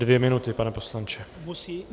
Dvě minuty, pane poslanče.